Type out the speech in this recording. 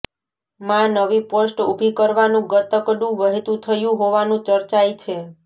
માં નવી પોસ્ટ ઊભી કરવાનુ ગતકડુ વહેતુ થયુ હોવાનુ ચર્ચાઈ છે